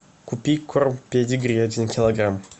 купи корм педигри один килограмм